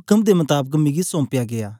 उक्म दे मताबक मिकी सौम्पया गीया